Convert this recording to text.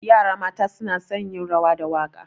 Yara mata suna son yin rawa da waƙa.